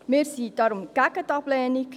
Wir sind deshalb gegen die Ablehnung.